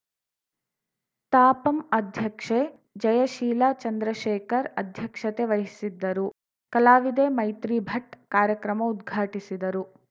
ತಾಪಂ ಅಧ್ಯಕ್ಷೆ ಜಯಶೀಲ ಚಂದ್ರಶೇಖರ್‌ ಅಧ್ಯಕ್ಷತೆ ವಹಿಸಿದ್ದರು ಕಲಾವಿದೆ ಮೈತ್ರಿ ಭಟ್‌ ಕಾರ್ಯಕ್ರಮ ಉದ್ಘಾಟಿಸಿದರು